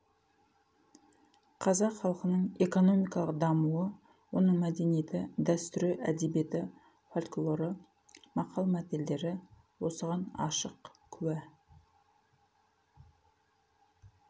қазақ халқының экономикалық дамуы оның мәдениеті дәстүрі әдебиеті фольклоры мақал-мәтелдері осыған ашық куә